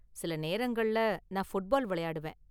சில நேரங்கள்ல நான் ஃபுட்பால் விளையாடுவேன்.